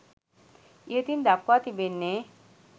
ඉහතින් දක්වා තිබෙන්නේ